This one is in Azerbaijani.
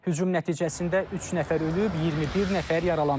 Hücum nəticəsində üç nəfər ölüb, 21 nəfər yaralanıb.